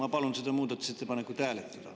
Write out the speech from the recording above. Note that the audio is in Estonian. Ma palun seda muudatusettepanekut hääletada.